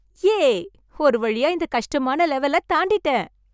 யே! ஒரு வழியா இந்தக் கஷ்டமான லெவலைத் தாண்டிட்டேன்!